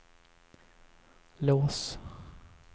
lås